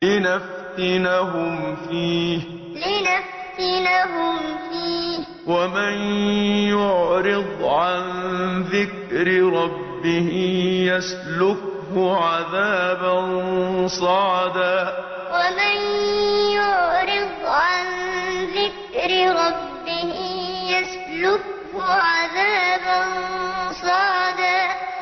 لِّنَفْتِنَهُمْ فِيهِ ۚ وَمَن يُعْرِضْ عَن ذِكْرِ رَبِّهِ يَسْلُكْهُ عَذَابًا صَعَدًا لِّنَفْتِنَهُمْ فِيهِ ۚ وَمَن يُعْرِضْ عَن ذِكْرِ رَبِّهِ يَسْلُكْهُ عَذَابًا صَعَدًا